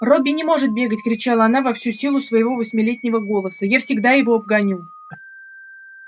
робби не может бегать кричала она во всю силу своего восьмилетнего голоса я всегда его обгоню